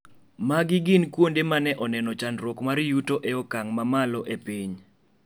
Magi gin kuonde mane oneno chandruok mar yuto e okang' ma malo e piny.